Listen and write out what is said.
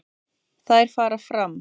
Þær fara fram